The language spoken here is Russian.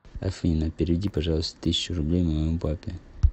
афина переведи пожалуйста тысячу рублей моему папе